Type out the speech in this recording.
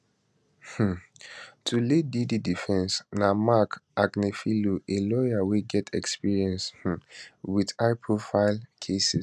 um to lead di diddy defence na marc agnifilo a lawyer wey get experience um wit highprofile cases